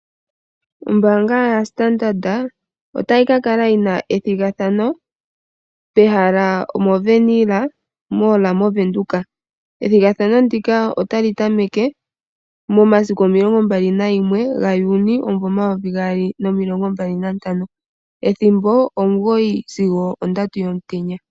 Ombaanga yaStandard ota yi kakala yina ethigathano pehala omoWernhil Mall moVenduka. Ethigathano ndika ota li tameke momasiku omilongo mbali nalimwe (21) gaJuni omayovi gaali nomilongo mbali nantano (2025), ethimbo omugoyi sigo ondatu yomutenya.